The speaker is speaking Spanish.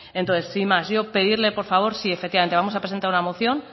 entonces sin más yo pedirle por favor sí efectivamente vamos a presentar una moción